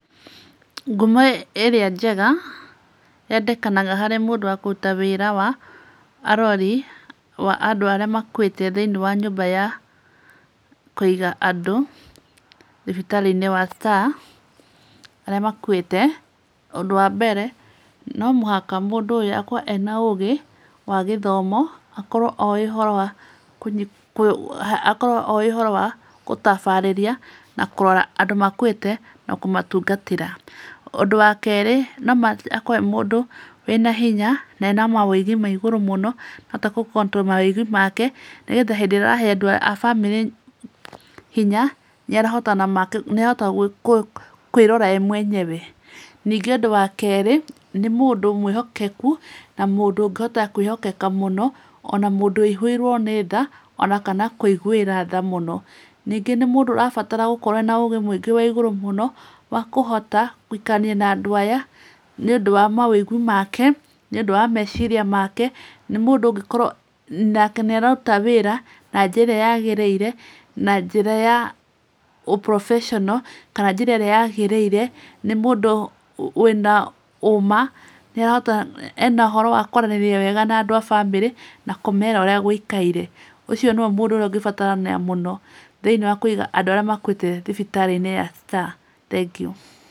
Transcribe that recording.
Ngumo ĩrĩa njega yandĩkanaga harĩ mũndũ wa kũruta wĩra wa arori wa andũ arĩa makuĩte thĩinĩ wa nyũmba ya kũiga andũ thibitarĩ-inĩ ya Star andũ arĩa makuĩte, ũndũ wa mbere no mũhaka mũndũ ũyũ akorwo ena ũgĩ wa gĩthomo, akorwo oĩ ũhoro wa gũtabarĩria na kũrora andũ makuĩte na kũmatungatĩra. Ũndũ wa kerĩ no mũhaka akorwo e mũndũ wĩna hinya na ena maũigi ma igũrũ mũno akahota gũ control maũigi make. Nĩgetha hĩndĩ ĩrĩa arahe andũ a famĩlĩ hinya nĩ arahota kwĩrora e mwenyewe. Ningĩ ũndũ wa kerĩ nĩ mũndũ mwĩhokeku na mũndũ ũngĩhota kwĩhokeka mũno, ona mũndũ ũihũirwo nĩ tha, ona kana kũigwĩra tha mũno. Ningĩ nĩ mũndũ urabatar gũkorwo ene ũgĩ wa igũrũ mũno wa kũhota gũikarania na andũ aya, nĩ ũndũ wa maũigu make, nĩ ũndũ wa meciria make. Nĩ mũndũ ũngĩkorwo make nĩ araruta wĩra na njĩra yagĩrĩire na njĩra ya ũ professional kana njĩra ĩrĩa yagĩrĩire. Nĩ mũndũ wĩna ũũma nĩarahota ena ũhoro wa kũaranĩria wega na andũ a famĩlĩ na kũmera ũrĩa gũikaire. Ũcio nĩwe mũndũ ũrĩa ũngĩbatarania mũno thĩinĩ wa kũiga andũ arĩa makuĩte thibitarĩ-inĩ ya Star. Thengiũ.